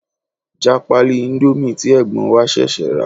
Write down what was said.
Já pálí íńdómì tí ẹ̀gbọ́n wa ṣẹ̀ṣẹ̀ rà.